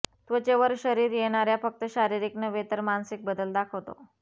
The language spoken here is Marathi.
त्वचेवर शरीर येणार्या फक्त शारीरिक नव्हे तर मानसिक बदल दाखवतो